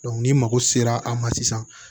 ni mago sera a ma sisan